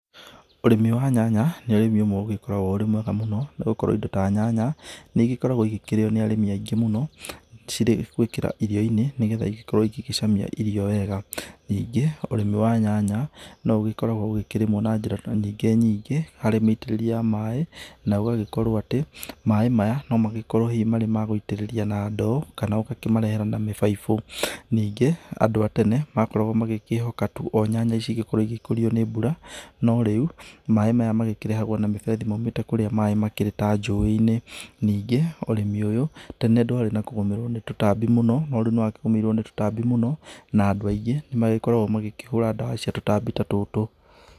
Ũrĩmi wa nyanya nĩ ũrĩmi ũmwe ũgĩkoragwo ũrĩ mwega mũno nĩ gũkorwo indo ta nyanya nĩ igĩkoragwo nĩ igĩkoragwo ikĩrĩo nĩ arĩmi aingĩ mũno, cire gwĩkĩra irio-inĩ nĩgetha igĩkorwo igĩcamia irio wega, ningĩ ũrĩmi wa nyanya no ũgĩkoragwo ũkĩrĩmwo na njĩra nyingĩ nyingĩ harĩ mĩitĩrĩrie ya maĩ, naũgagĩkorwo atĩ maĩ maya no magĩkorwo hihi mari magũitĩrĩria na ndoo kana ũgakĩmarehera na mĩbaibũ, ningĩ andũ a tene makoragwo magĩkĩhoka tu nyanya ici ikorwo igĩkũrio nĩ mbura, no rĩu maĩ maya makĩrehagwo na mĩberethi maumĩte kũria maĩ makĩrĩ ta njũĩ-inĩ, ningĩ ũrĩmi ũyũ tene ndwarĩ na kũgũmĩrwo nĩ tũtambi mũno no rĩu nĩ wagũmĩirwo nĩ tũtambi mũno, na andũ aingĩ nĩ magĩkoragwo magĩkĩhũra ndawa cia tũtambi ta tũtũ.